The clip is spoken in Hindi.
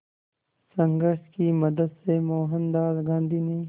संघर्ष की मदद से मोहनदास गांधी ने